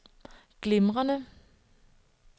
glimrende